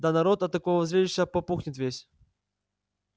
да народ от такого зрелища попухнет весь